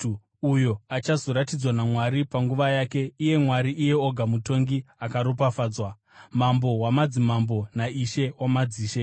uyo achazoratidzwa naMwari panguva yake iye Mwari, iye oga Mutongi akaropafadzwa, Mambo wamadzimambo naIshe wamadzishe.